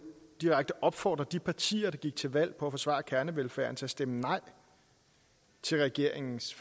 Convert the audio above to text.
direkte opfordre de partier der gik til valg på at forsvare kernevelfærden til at stemme nej til regeringens